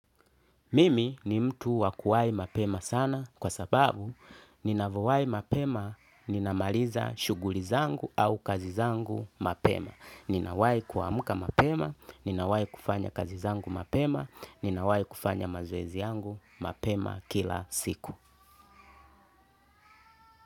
Mimi ni mtu wakuwai mapema sana kwa sababu ninavowai mapema ninamaliza shughuli zangu au kazi zangu mapema. Ninawai kuamka mapema, ninawai kufanya kazi zangu mapema, ninawai kufanya mazoezi yangu mapema kila siku.